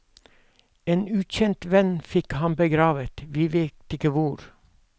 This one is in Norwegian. En ukjent venn fikk ham begravet, vi vet ikke hvor.